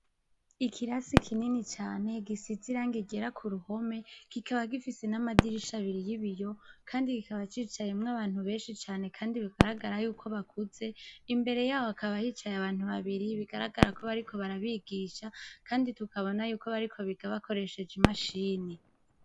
Ikirasi kinini cane gisize irangi ryera k'uruhome kikaba gifise n'amadirisha abiri y'ibiyo kandi kikaba cicayemwo abantu benshi cane knadi bigaragara yuko bakuze, imbere yaho hakaba hicaye abantu babiri bigaragara ko bariko barabigisha, kandi tukabona yuko bariko biga bakoresheje imashini.